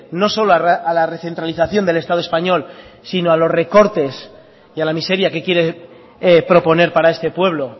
no solo a la recentralización del estado español sino a los recortes y a la miseria que quiere proponer para este pueblo